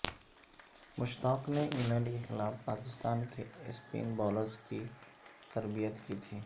مشتاق نے انگلینڈ کے خلاف پاکستان کے سپن بالرز کی تربیت کی تھی